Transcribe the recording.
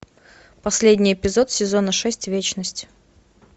последний эпизод сезона шесть вечность